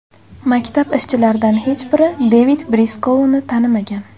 Maktab ishchilaridan hech biri Devid Briskouni tanimagan.